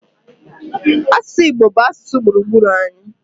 Asụsụ Igbo bụ asụsụ gburugburu anyị.